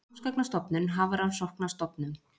Námsgagnastofnun- Hafrannsóknastofnun.